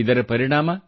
ಇದರ ಪರಿಣಾಮ